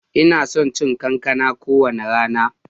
Ina son cin kankana kowane rana.